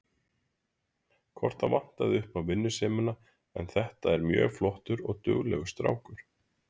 Hvort það vantaði upp á vinnusemina en þetta er mjög flottur og duglegur strákur.